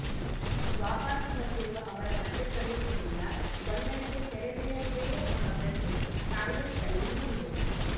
ವಾಪಸು ಬಂದಿರುವ ಅವರ ಮಧ್ಯ ಪ್ರವೇಶದಿಂದ ಗೊಂದಲಕ್ಕೆ ತೆರೆ ಬೀಳಲಿದೆಯೇ ಎಂಬ ಪ್ರಶ್ನೆ ಕಾಂಗ್ರೆಸ್ನಲ್ಲಿ ಮೂಡಿದೆ